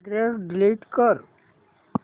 address delete कर